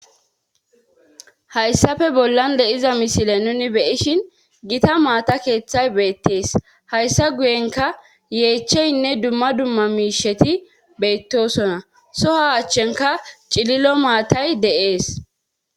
Hayssafe bollan le7iza misile nuni beyishin gita maata keeththay beettees hayssa guyenka yeecheynne dumma dumma miisheti beyttosonna soha achchenka cililo maatay de7ees.